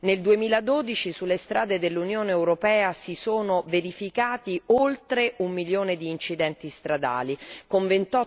Nel 2012 sulle strade dell'Unione europea si sono verificati oltre 1 milione di incidenti stradali con